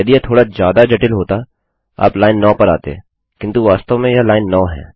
यदि यह थोड़ा ज्यादा जटिल होता आप लाइन 9 पर आते किन्तु वास्तव में यह लाइन 9 है